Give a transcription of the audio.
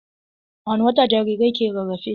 A wani wata jarirai ke rarafe?